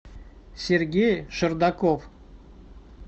сергей шардаков